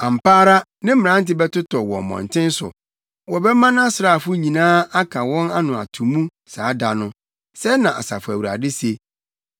Ampa ara ne mmerante bɛtotɔ wɔ mmɔnten so; wɔbɛma nʼasraafo nyinaa aka wɔn ano ato mu saa da no,” sɛɛ na Asafo Awurade se.